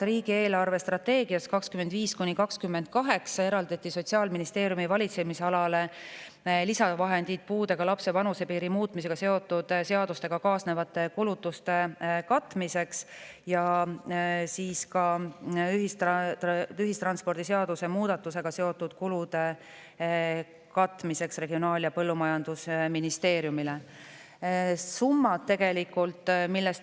Riigi eelarvestrateegias 2025–2028 eraldatakse lisavahendid Sotsiaalministeeriumi valitsemisalale, et katta puudega lapse vanuse seotud seaduste kaasnevad kulutused, ja Regionaal- ja Põllumajandusministeeriumile, et katta ühistranspordiseaduse muudatusega seotud kulud.